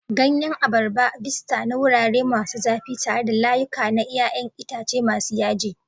Ganyen abarba, vista na wurare masu zafi tare da layuka na 'ya'yan itace masu yaji.